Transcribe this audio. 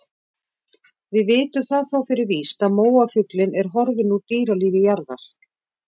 Við vitum það þó fyrir víst að móafuglinn er horfinn úr dýralífi jarðar.